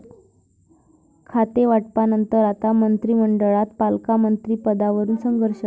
खातेवाटपानंतर आता मंत्रिमंडळात पालकमंत्रिपदावरुन संघर्ष?